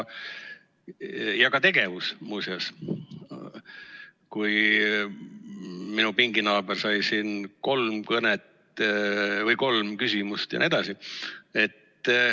Ja ka tegevus, muuseas – minu pinginaaber sai siin kolm küsimust jne.